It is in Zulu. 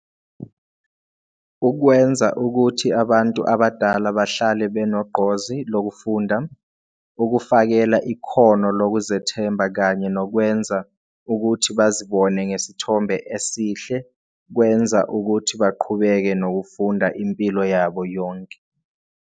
Ukwenza ukuthi abantu abadala bahlale benegqozi lokufunda, ukufakela ikhono lokuzethemba kanye nokwenza ukuthi bazibone ngesithombe esihle kwenza ukuthi baqhubeke nokufunda impilo yabo yonke.